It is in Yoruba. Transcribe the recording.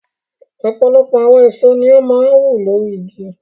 Ọ̀pọ̀lọpọ̀ àwọn èso ni ó máa ń wù lórí igi.